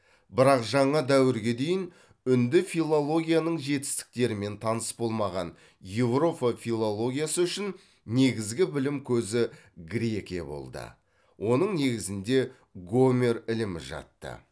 бірақ жаңа дәуірге дейін үнді филологияның жетістіктерімен таныс болмаған еуропа филологиясы үшін негізгі білім көзі грекия болды онын негізінде гомер ілімі жатты